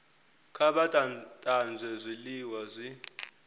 kha vha tanzwe zwiliwa zwi